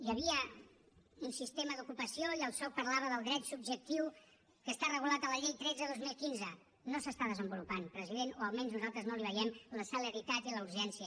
hi havia un sistema d’ocupació i el soc parlava del dret subjectiu que està regulat a la llei tretze dos mil quinze no s’està desenvolupant president o almenys nosaltres no li veiem la celeritat i la urgència